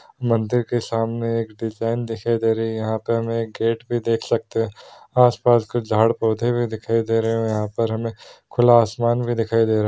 मंदिर के सामने एक डिज़ाइन दिखाई दे रही है | यहाँ पे हमे एक गेट भी देख सकते है | आस पास कुछ झाड़ पौधे भी दिखाई दे रहे हैं | और यहाँ पर हमे खुला आसमान भी दिखाई दे रहा है।